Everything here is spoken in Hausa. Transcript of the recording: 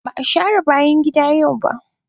Ba a share bayan gida yau ba.